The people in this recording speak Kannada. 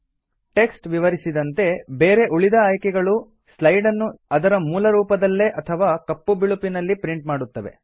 ಟೆಕ್ಸ್ಟ್ ವಿವರಿಸಿದಂತೆ ಬೇರೆ ಉಳಿದ ಆಯ್ಕೆಗಳು ಸ್ಲೈಡ್ ನ್ನು ಅದರ ಮೂಲ ರೂಪದಲ್ಲೇ ಅಥವಾ ಕಪ್ಪು ಬಿಳುಪಿನಲ್ಲಿ ಪ್ರಿಂಟ್ ಮಾಡುತ್ತವೆ